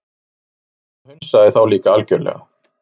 Drífa hunsaði þá líka algjörlega.